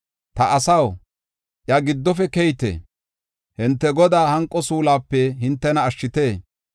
“Ta asaw, iya giddofe keyite! Hinte, Godaa hanqo suuluwape hintena ashshite!